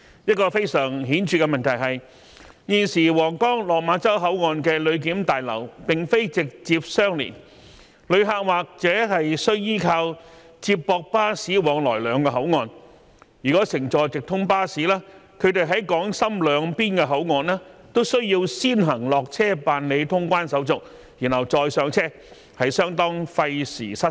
一個非常顯著的問題是，現時皇崗/落馬洲口岸的旅檢大樓並非直接相連，旅客或須依靠接駁巴士往來兩個口岸，如果乘坐直通巴士，他們在港深兩邊口岸都需要先行落車辦理通關手續，然後再上車，相當費時失事。